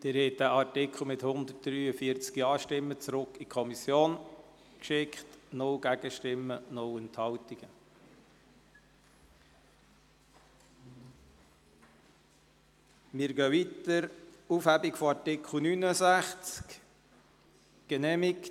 Sie haben diesen Artikel mit 143 Ja-Stimmen in die Kommission zurückgeschickt, bei 0 Gegenstimmen und 0 Enthaltungen.